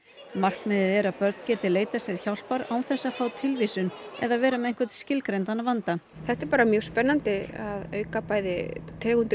markmiðið er að börn geti leitað hjálpar án þess að fá tilvísun eða vera með einhvern skilgreindan vanda þetta er bara mjög spennandi að auka bæði tegundir